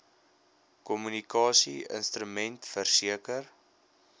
kommunikasie instrument verseker